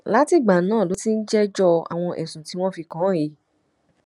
látìgbà náà ló ti ń jẹjọ àwọn ẹsùn tí wọn fi kàn án yìí